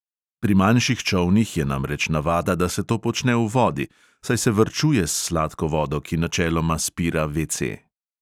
Pri manjših čolnih je namreč navada, da se to počne v vodi, saj se varčuje s sladko vodo, ki načeloma spira VC.